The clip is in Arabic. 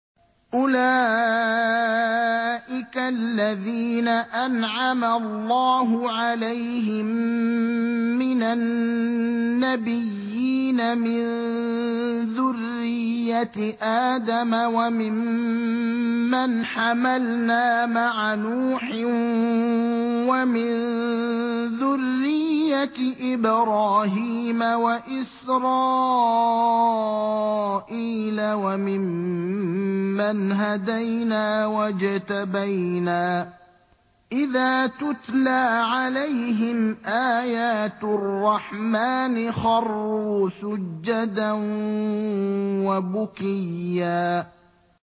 أُولَٰئِكَ الَّذِينَ أَنْعَمَ اللَّهُ عَلَيْهِم مِّنَ النَّبِيِّينَ مِن ذُرِّيَّةِ آدَمَ وَمِمَّنْ حَمَلْنَا مَعَ نُوحٍ وَمِن ذُرِّيَّةِ إِبْرَاهِيمَ وَإِسْرَائِيلَ وَمِمَّنْ هَدَيْنَا وَاجْتَبَيْنَا ۚ إِذَا تُتْلَىٰ عَلَيْهِمْ آيَاتُ الرَّحْمَٰنِ خَرُّوا سُجَّدًا وَبُكِيًّا ۩